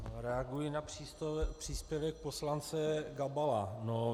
Reaguji na příspěvek poslance Gabala.